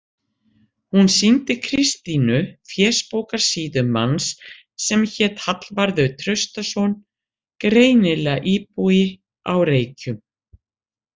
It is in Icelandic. Hún sýndi Kristínu fésbókarsíðu manns sem hét Hallvarður Traustason, greinilega íbúi á Reykjum.